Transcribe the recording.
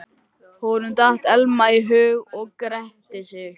Honum datt Elma í hug og gretti sig.